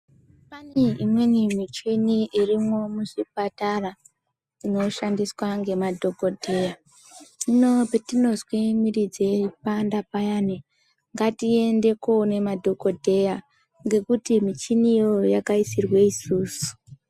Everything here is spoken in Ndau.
Pane imweni michini irimwo muzvipatara inoshandiswa ngemadhokodheya, patinozwe miri dzeipanda payani ngatiende koome madhokodheya ngekuti michini iyoyo yakaisirwe isusu.